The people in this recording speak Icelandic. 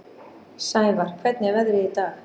Sævarr, hvernig er veðrið í dag?